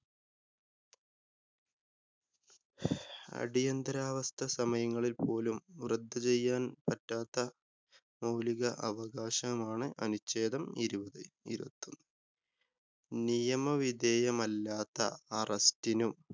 അടിയന്തിരാവസ്ഥ സമയങ്ങളില്‍ പോലും റദ്ദ് ചെയ്യാന്‍ പറ്റാത്ത മൌലിക അവകാശമാണ് അനുച്ഛേദം ഇരുപത് ഇരുപത്തിയൊന്ന്. നിയമ വിധേയമല്ലാത്ത അറസ്റ്റിനും